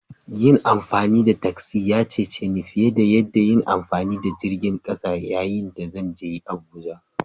Yin amfani da tasi ya cece ni fiye da yin amfani da jirgin ƙasa yayin da zan je Abuja